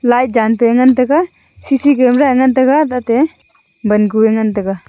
lai dan pe ngan taiga C_C_C camera a ngan tai ga tate ban ku e ngan tai ga.